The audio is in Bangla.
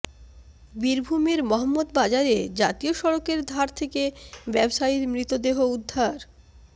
বীরভূমের মহম্মদবাজারে জাতীয় সড়কের ধার থেকে ব্যবসায়ীর মৃতদেহ উদ্ধার